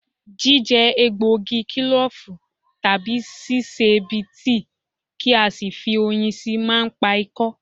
Jíjẹ egbògi kílòfù, tàbí sí sè é bí i tíì kí a sì fi oyin síi máa ń pa ikọ́